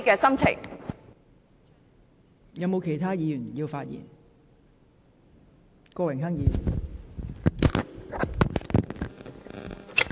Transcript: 是否有其他議員想發言？